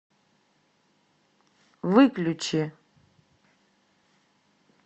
выключи